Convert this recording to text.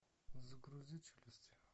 загрузи челюсти